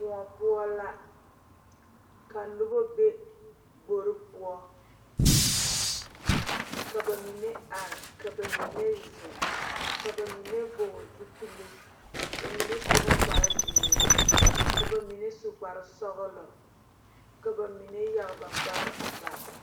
Kõɔ poɔ la ka nobɔ be gbore poɔ ka ba mine arevka ba mine zeŋ ka ba mine vɔɔle zupile ba mine su la kparezeere ka ba mine su kparesɔglɔ ka ba mine yage ba kpare a bare.